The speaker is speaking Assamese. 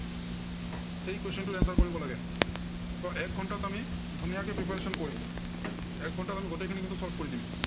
এই question টোৰ answer কৰিব লাগে। ত এক ঘন্টাত আমি ধুনীয়াকে preparation কৰিম। এক ঘন্টাত আমি গোটেইখিনি কিন্তু preparation কৰি দিম।